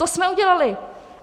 To jsme udělali!